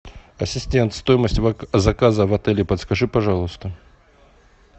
ассистент стоимость заказа в отеле подскажи пожалуйста